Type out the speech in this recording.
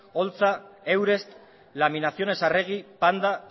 holtza eusrest laminaciones arregui panda